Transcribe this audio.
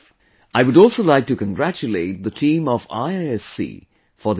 I would also like to congratulate the team of IISc for this success